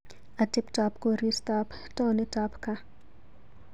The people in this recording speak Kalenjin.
Ateptap koristaap taonitap kaa.